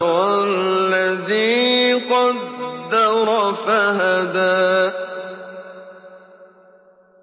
وَالَّذِي قَدَّرَ فَهَدَىٰ